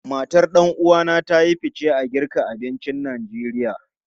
Matan ɗan uwa na ta yi fice a girka abincin Najeriya.